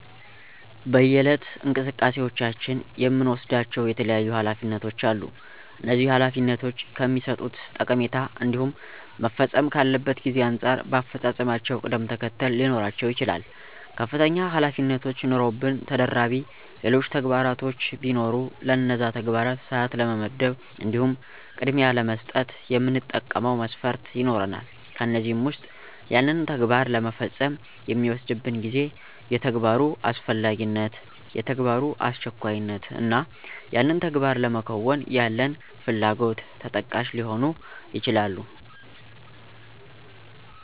በየዕለት እንቅስቃሴዎቻችን የምንወስዳቸው የተለያዩ ኃላፊነቶች አሉ፤ እነዚህ ኃላፊነቶች ከሚሠጡት ጠቀሜታ እንዲሁም መፈጸም ካለበት ጊዜ አንጻር በአፈፃፀማቸው ቅደም ተከተለ ሊኖራቸው ይችላል። ከፍተኛ ኃላፊነቶች ኑረውብን ተደራቢ ሌሎች ተግባራቶች ቢኖሩ ለነዛ ተግባራት ሰዓት ለመመደብ እንዲሁም ቅድሚያ ለመስጠት የምንጠቀመው መስፈርት ይኖራል፤ ከእነዚህም ዉስጥ ያንን ተግባር ለመፈጸም የሚወስድብን ጊዜ፣ የተግባሩ አስፈላጊነት፣ የተግባሩ አስቸኳይነት እና ያንን ተግባር ለማከናወን ያለን ፍላጎት ተጠቃሽ ሊሆኑ ይችላሉ።